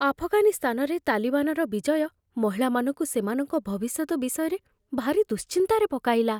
ଆଫଗାନିସ୍ତାନରେ ତାଲିବାନର ବିଜୟ ମହିଳାମାନଙ୍କୁ ସେମାନଙ୍କ ଭବିଷ୍ୟତ ବିଷୟରେ ଭାରି ଦୁଶ୍ଚିନ୍ତାରେ ପକାଇଲା।